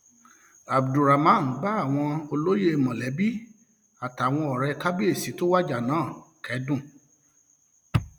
abdulrahman bá àwọn olóyè um mọlẹbí àtàwọn ọrẹ kábíyèsí tó wájà náà um kẹdùn